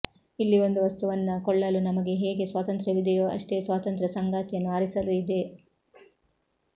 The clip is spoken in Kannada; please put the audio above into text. ಇಲ್ಲಿ ಒಂದು ವಸ್ತುವನ್ನ ಕೊಳ್ಳಲು ನಮಗೆ ಹೇಗೆ ಸ್ವಾತಂತ್ರ್ಯವಿದೆಯೋ ಅಷ್ಟೇ ಸ್ವಾತಂತ್ರ್ಯ ಸಂಗಾತಿಯನ್ನು ಆರಿಸಲೂ ಇದೆ